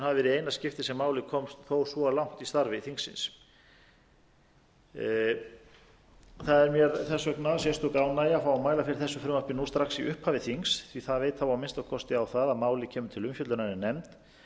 eina skiptið sem málið komst þó svo langt í starfi þingsins það er mér þess vegna sérstök ánægja að fá að mæla fyrir þessu frumvarpi strax í upphafi þings því að það veit þá að minnsta kosti á það að málið kemur ætla umfjöllunar í